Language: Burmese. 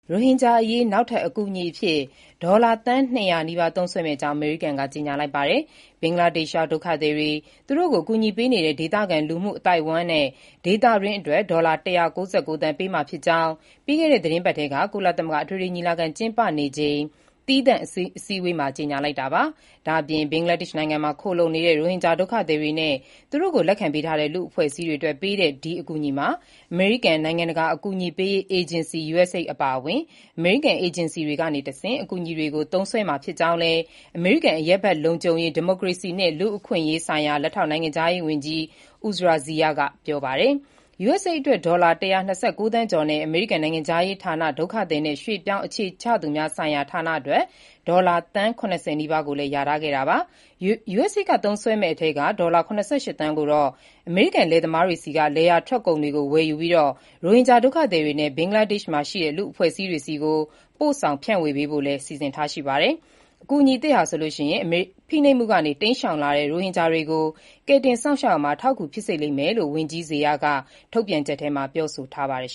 ရိုဟင်ဂျာအရေး နောက်ထပ် အကူအညီအဖြစ် ဒေါ်လာ သန်း ၂၀၀ နီးပါး သုံးစွဲမယ့်အကြောင်း အမေရိကန်က ကြေညာလိုက်ပါတယ်။ ဘင်္ဂလားဒေ့ရှ်ရောက် ဒုက္ခသည်တွေ၊ အကူအညီပေးနေတဲ့ ဒေသခံလူမှုအသိုက်အဝန်းနဲ့ ဒေသတွင်းအတွက် ဒေါ်လာ ၁၉၉ သန်း ပေးမှာဖြစ်ကြောင်း ပြီးခဲ့တဲ့ သီတင်းပတ်ထဲ ကုလသမဂ္ဂ အထွေထွေညီလာခံ ကျင်းပနေချိန် သီးသန့်အစည်းအဝေးမှာ ကြေညာလိုက်တာပါ။ ဘင်္ဂလားဒေ့ရှ်နိုင်ငံမှာ ခိုလှုံနေတဲ့ ရိုဟင်ဂျာဒုက္ခသည်တွေနဲ့ သူတို့ကို လက်ခံပေးထားတဲ့ လူ့အဖွဲ့အစည်းတွေ အတွက် ဒီအကူအညီမှာ အမေရိကန် နိုင်ငံတကာ အကူအညီပေးရေး အေဂျင်စီ (USAID) အပါအဝင် အမေရိကန် အေဂျင်စီတွေကနေတဆင့် အကူအညီတွေကို သုံးစွဲမှာ ဖြစ်ကြောင်းလည်း အမေရိကန် အရပ်ဘက်လုံခြုံရေး၊ ဒီမိုကရေစီနှင့် လူ့အခွင့်အရေးဆိုင်ရာ လက်ထောက် နိုင်ငံခြားရေးဝန်ကြီး Uzra Zeya ကပြောပါတယ်။ USAID အတွက် ဒေါ်လာ ၁၂၉ သန်းကျော်နဲ့ အမေရိကန် နိုင်ငံခြားရေးဌာန ဒုက္ခသည်နဲ့ ရွှေ့ပြောင်းအခြေချသူများဆိုင်ရာဌာနအတွက် ဒေါ်လာသန်း ၇၀ နီးပါးကိုလည်း လျာထားခဲ့တာပါ။ USAID က သုံးစွဲမယ့်အထဲက ဒေါ်လာ ၇၈ သန်းကိုတော့ အမေရိကန် လယ်သမားတွေဆီက လယ်ယာထွက်ကုန်တွေကိုဝယ်ယူပြီး ရိုဟင်ဂျာ ဒုက္ခသည်တွေနဲ့ ဘင်္ဂလားဒေ့ရှ်ရှိ အဖွဲ့အစည်းတွေဆီကို ပို့ဆောင် ဖြန့်ဝေပေးဖို့လည်း စီစဉ်ထားတာပါ။ အကူအညီသစ်ဟာ ဖိနှိပ်မှုတွေကနေ တိမ်းရှောင်လာတဲ့ ရိုဟင်ဂျာတွေကို ကယ်တင်စောင့်ရှောက်ရာမှာ အထောက်အကူ ဖြစ်စေလိမ့်မယ်လို့လည်း ဝန်ကြီး Zeya က ထုတ်ပြန်ချက်မှာ ပြောဆိုထားပါတယ်